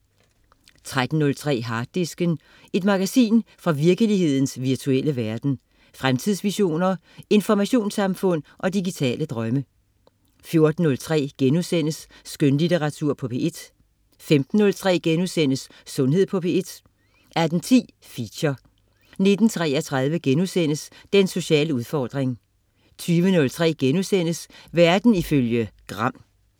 13.03 Harddisken. Et magasin fra virkelighedens virtuelle verden. Fremtidsvisioner, informationssamfund og digitale drømme 14.03 Skønlitteratur på P1* 15.03 Sundhed på P1* 18.10 Feature 19.33 Den sociale udfordring* 20.03 Verden ifølge Gram*